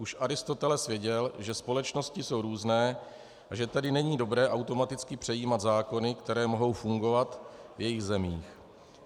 Už Aristoteles věděl, že společnosti jsou různé, a že tedy není dobré automaticky přejímat zákony, které mohou fungovat v jejich zemích.